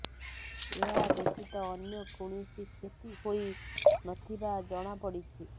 ଏହା ବ୍ୟତୀତ ଅନ୍ୟ କୌଣସି କ୍ଷତି ହୋଇ ନ ଥିବା ଜଣାପଡିଛି